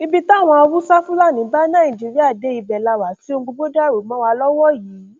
ibi táwọn haúsáfásilà bá nàìjíríà dé ibẹ la wà tí ohun gbogbo dàrú mọ wa lọwọ yìí